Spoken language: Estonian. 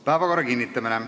Päevakorra kinnitamine.